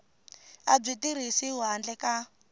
a byi tirhisiwi handle ka